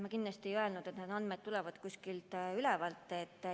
Ma kindlasti ei öelnud, et need andmed tulevad kuskilt ülevalt.